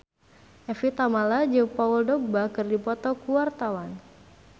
Evie Tamala jeung Paul Dogba keur dipoto ku wartawan